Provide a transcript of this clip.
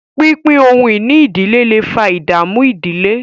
pínpín ohun-ìní ìdílé lẹ fà ìdààmú ìdílé.